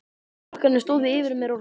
Krakkarnir stóðu yfir mér og hlógu.